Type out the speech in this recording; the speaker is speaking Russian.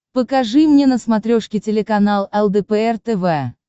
покажи мне на смотрешке телеканал лдпр тв